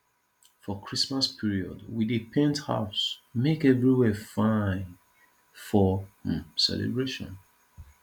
for christmas period we dey paint house make everywhere fine for um celebration